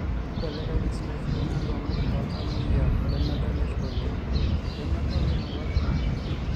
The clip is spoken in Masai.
keibelekenyi si osoit le nkongu toltamoyia lededolisho oleng lemedol enaalakua